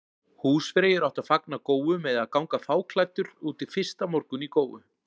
Húsfreyjur áttu að fagna góu með því að ganga fáklæddur út fyrsta morgun í góu.